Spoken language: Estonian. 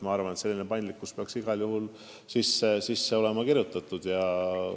Ma arvan, et selline paindlikkus peaks olema sinna igal juhul sisse kirjutatud.